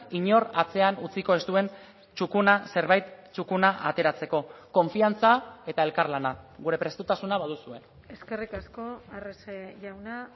inor atzean utziko ez duen txukuna zerbait txukuna ateratzeko konfiantza eta elkarlana gure prestutasuna baduzue eskerrik asko arrese jauna